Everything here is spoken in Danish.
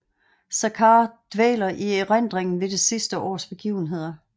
Saccard dvæler i erindringen ved det sidste års begivenheder